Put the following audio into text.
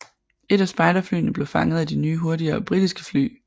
Et af spejderflyene blev fanget at de nye hurtigere britiske fly